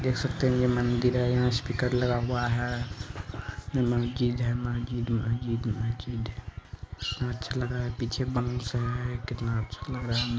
देख सकते है यह मन्दिर है यहाँ स्पीकर लगा हुआ है अं महजिद है महजिद महजिद महजिद है कितना अच्छा लग रहा है पिछे मनुस है कितना अच्छा लग रहा है नजा--